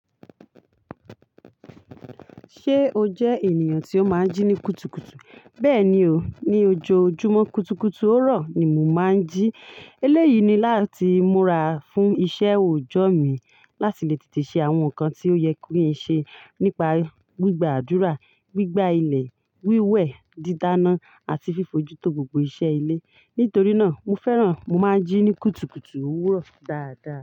Ṣé o jẹ ènìyàn tí ó máa ń jí ní kùtùkùtù? Bẹ́ẹ̀ni o, ní ojoojúmọ́ kùtùkùtù òwúrọ̀ ni mo máa ń jí. Eléyìí ni láti múra fún iṣẹ́ òòjọ́ mi láti lè tètè ṣe àwọn nǹkan tí ó yẹ kí n ṣe nípa gbígbàdúrà, gbígbá ilẹ̀, wíwẹ̀, dídáná àti fífojútó gbogbo iṣẹ́ ilé. Nítorí náà, mo fẹ́ràn mo máa ń jí ní kùtùkùtù òwúrọ̀ dáadáa.